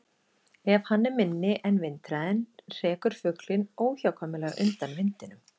Ef hann er minni en vindhraðinn hrekur fuglinn óhjákvæmilega undan vindinum.